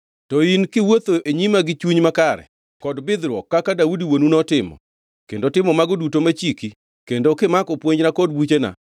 “To in, kiwuotho e nyima gi chuny makare kod bidhruok, kaka Daudi wuonu notimo, kendo timo mago duto machiki kendo kimako puonjna kod buchena,